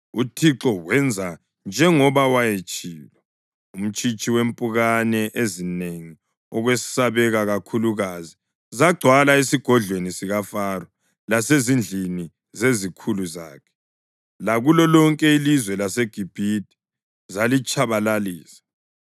UThixo wenza njengoba wayetshilo. Umtshitshi wempukane ezinengi okwesabeka kakhulukazi zagcwala esigodlweni sikaFaro lasezindlini zezikhulu zakhe, lakulo lonke ilizwe laseGibhithe; zalitshabalalisa.